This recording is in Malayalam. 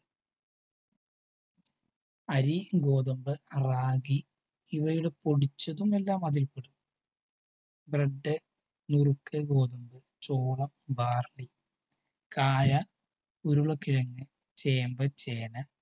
അരി ഗോതമ്പു റാഗി ഇവയുടെ പൊടിച്ചതും എല്ലാം അതിൽ പെടും. ബ്രഡ് നുറുക്ക് ഗോതമ്പു ചോറ് ബാർലി കായ ഉരുളക്കിഴങ്ങു ചെമ്പു ചേന